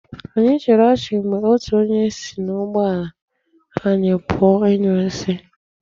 Anyị chịrị ọchị mgbe otu onye si n'ụgbọ ala anyi pụọ ịnyụ nsi.